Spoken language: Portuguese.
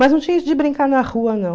Mas não tinha isso de brincar na rua, não.